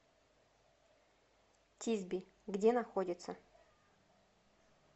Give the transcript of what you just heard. тисби где находится